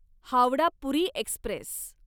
Howrah Puri Express